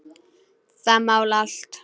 Það mál allt.